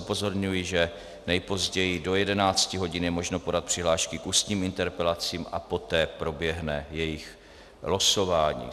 Upozorňuji, že nejpozději do 11 hodin je možno podat přihlášky k ústním interpelacím a poté proběhne jejich losování.